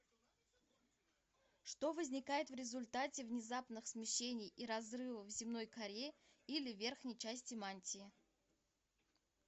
что возникает в результате внезапных смещений и разрывов в земной коре или верхней части мантии